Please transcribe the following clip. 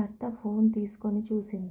భర్త ఫోన్ తీసుకుని చూసింది